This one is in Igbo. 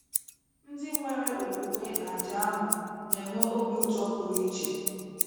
Ndị nwere okwukwe n’àjà ahụ na - enwe obi ụtọ pụrụ iche.